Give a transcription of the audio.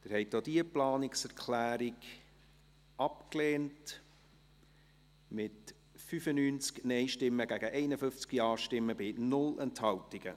Sie haben auch diese Planungserklärung abgelehnt, mit 95 Nein- gegen 51 Ja-Stimmen bei 0 Enthaltungen.